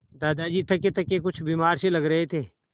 दादाजी थकेथके कुछ बीमार से लग रहे थे